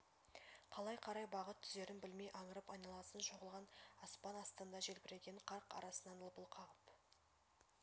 қалай қарай бағыт түзерін білмей аңырып айналасын шолған аспан астында желбіреген қар арасынан лыпыл қағып